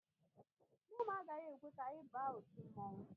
Nne m agaghị ekwe ka anyị ba otu mmonwu